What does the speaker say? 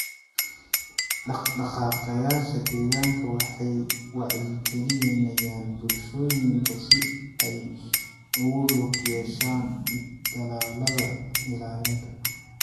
Dhaqdhaqaaqayaasha deegaanka waxay wacyigelinayaan bulshooyinka si ay ugu lug yeeshaan dadaallada ilaalinta.